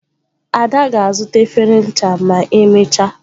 *Ada ga-azuta efere ncha ma emechaa.